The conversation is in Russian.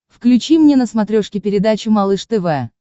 включи мне на смотрешке передачу малыш тв